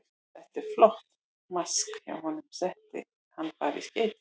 Þetta var flott mark hjá honum, setti hann bara í skeytin.